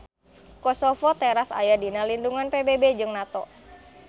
Kosovo teras aya dina lindungan PBB jeung NATO.